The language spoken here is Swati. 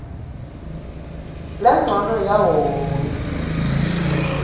lencono yawo wonkhe